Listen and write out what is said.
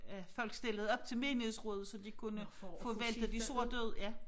At folk stillede op til menighedsrådet så de kunne få væltet de sorte ud ja